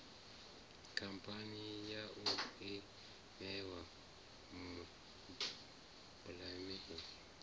khamphani yau i ṋewa mubhann